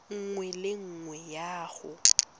nngwe le nngwe ya go